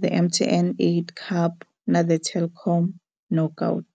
The MTN 8 Cup na The Telkom Knockout.